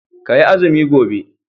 Ka yi azumi gobe